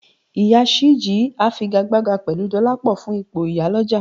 Ìyá Ṣìjí á figagbága pẹ̀lú Dọlápọ̀ fún ipò ìyálọ̀jà